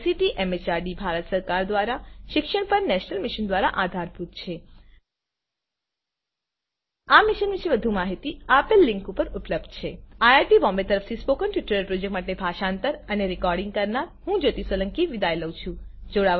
જે ICT MHRD Bharat સરકાર દ્વારા શિક્ષણ પર નેશનલ મિશન દ્વારા આધારભૂત છે આ મિશન વિશે વધુ માહીતી નીચે આપેલ લીંક ઉપર ઉપલબ્ધ છે160 iit બોમ્બે તરફથી સ્પોકન ટ્યુટોરીયલ પ્રોજેક્ટ માટે ભાષાંતર કરનાર હું જ્યોતી સોલંકી વિદાય લઉં છું